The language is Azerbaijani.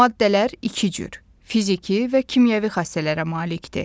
Maddələr iki cür: fiziki və kimyəvi xassələrə malikdir.